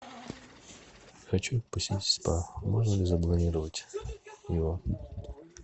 хочу посетить спа можно ли забронировать его